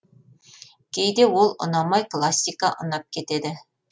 кейде ол ұнамай классика ұнап кетеді